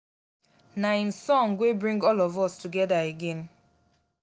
na im song wey bring all of us together again